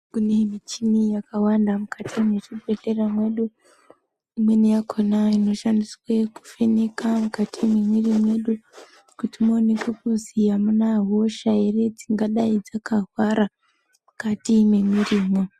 Kune muchini yakawanda mukati mwezvibhehlera mwedu. Imweni yakona inoshandiswa kuvheneka mukati mwemwiri mwedu kuti muonekwe kuzi amuna hosha ere dzingadai dzakahwara mukati mwemirimwo.